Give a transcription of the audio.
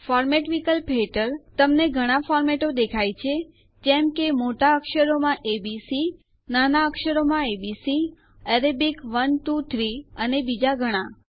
format વિકલ્પ હેઠળ તમને ઘણા ફોર્મેટો દેખાય છે જેમ કે મોટા અક્ષરોમાં એ બી સી નાના અક્ષરોમાં એ બી સી અરેબિક 1 2 3 અને બીજા ઘણા